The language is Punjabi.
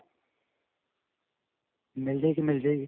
ਮਿਲ ਜਾਵੇਗੀ, ਮਿਲ ਜਾਵੇਗੀ.